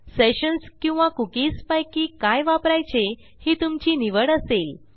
sessions किंवा cookies पैकी काय वापरायचे ही तुमची निवड असेल